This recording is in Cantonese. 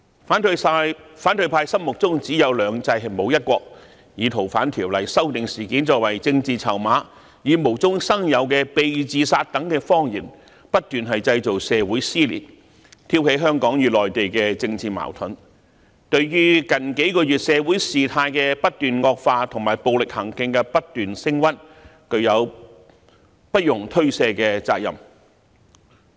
反對派心目中只有"兩制"，沒有"一國"，以修訂《逃犯條例》事件作為政治籌碼，以無中生有的"被自殺"等謊言，不斷製造社會撕裂，挑起香港與內地的政治矛盾，對於近幾個月社會事態的不斷惡化及暴力行徑不斷升溫，具有不容推卸的責任。